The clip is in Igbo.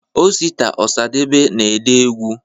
osita osadebe na ede egwụ